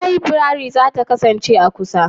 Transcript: Librariyan za ta kasance a kusa?